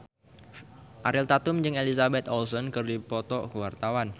Ariel Tatum jeung Elizabeth Olsen keur dipoto ku wartawan